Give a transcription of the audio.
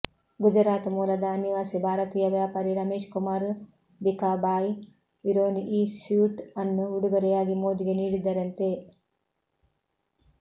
ಗುಜರಾತ್ ಮೂಲದ ಅನಿವಾಸಿ ಭಾರತೀಯ ವ್ಯಾಪಾರಿ ರಮೇಶ್ ಕುಮಾರ್ ಭಿಕಾಬಾಯ್ ವಿರಾನಿ ಈ ಸ್ಯೂಟ್ ಅನ್ನು ಉಡುಗೊರೆಯಾಗಿ ಮೋದಿಗೆ ನೀಡಿದ್ದರಂತೆ